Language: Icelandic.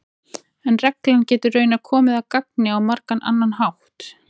en reglan getur raunar komið að gagni á margan annan hátt